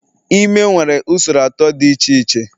Ime nwere usoro atọ dị iche iche